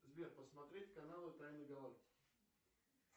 сбер посмотреть каналы тайны галактики